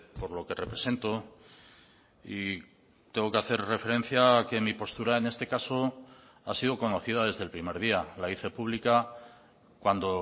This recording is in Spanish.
por lo que represento y tengo que hacer referencia a que mi postura en este caso ha sido conocida desde el primer día la hice pública cuando